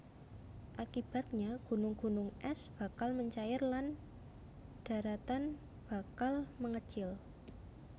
Akibatnya gunung gunung ès bakal mencair lan daratan bakal mengecil